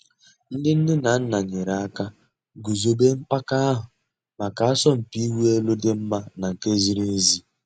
Ǹdí nnè nà nnà nyèrè àkà gùzòbè mpàka àhụ̀ mǎká àsọ̀mpị̀ ị̀wụ̀ èlù dì́ mma nà nke zìrì èzí.